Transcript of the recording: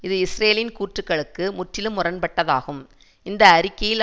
இது இஸ்ரேலின் கூற்றுக்களுக்கு முற்றிலும் முரண்பட்டதாகும் இந்த அறிக்கையில்